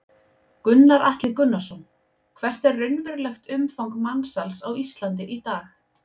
Gunnar Atli Gunnarsson: Hvert er raunverulegt umfang mansals á Íslandi í dag?